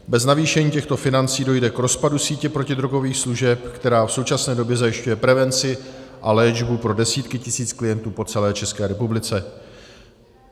Bez navýšení těchto financí dojde k rozpadu sítě protidrogových služeb, která v současné době zajišťuje prevenci a léčbu pro desítky tisíc klientů po celé České republice.